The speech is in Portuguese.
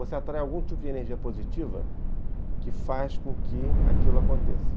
Você atrai algum tipo de energia positiva que faz com que aquilo aconteça.